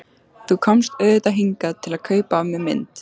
Þú komst auðvitað hingað til að kaupa af mér mynd.